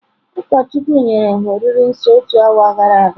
Ụkọchukwu nyere ha oriri nsọ otu awa gara aga.